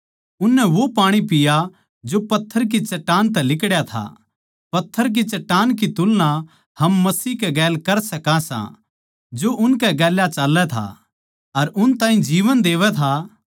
उननै वो पाणी पीया जो पत्थर की चट्टान तै लिकड्या था पत्थर की चट्टान की तुलना हम मसीह के साथ कर सका सां जो उनकै गैल चाल्लै था अर उन ताहीं जीवन देवै था